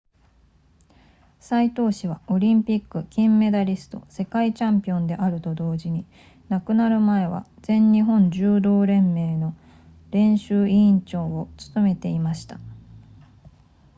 斎藤氏はオリンピック金メダリスト世界チャンピオンであると同時に亡くなる前は全日本柔道連盟の練習委員長を務めていました